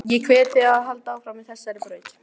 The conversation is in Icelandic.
Ég hvet þig til að halda áfram á þessari braut.